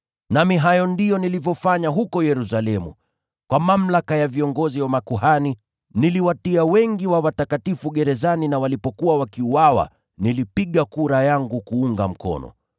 Nami hayo ndiyo niliyoyafanya huko Yerusalemu. Kwa mamlaka ya viongozi wa makuhani, niliwatia wengi wa watakatifu gerezani na walipokuwa wakiuawa, nilipiga kura yangu kuunga mkono.